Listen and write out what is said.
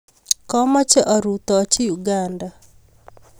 Kamache arutochi Uganda